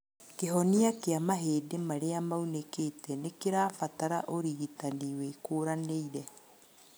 Kĩhonia kĩa mahĩndĩ marĩa maunĩkĩte nĩkĩrabatara ũrigitani wĩkũranĩire